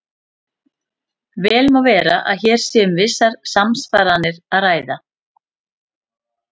Vel má vera að hér sé um vissar samsvaranir að ræða.